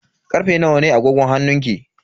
Karfe nawa ne a agogon hannunki?